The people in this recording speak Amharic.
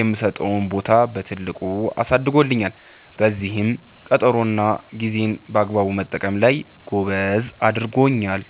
የምሰጠውን ቦታ በትልቁ አሳድጎልኛል፤ በዚህም ቀጠሮ እና ጌዜን በአግባቡ መጠቀም ላይ ጎበዝ አድርጎኛል።